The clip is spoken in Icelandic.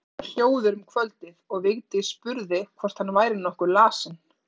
Hann var hljóður um kvöldið og Vigdís spurði hvort hann væri nokkuð lasinn.